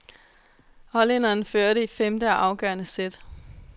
Hollænderen førte i femte og afgørende sæt.